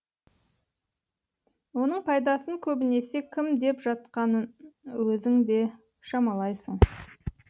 оның пайдасын көбінесе кім жеп жатқанын өзің де шамалайсың